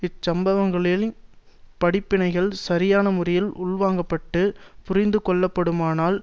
இச்சம்பவங்களின் படிப்பினைகள் சரியான முறையில் உள்வாங்கப்பட்டு புரிந்துகொள்ளப்படுமானால்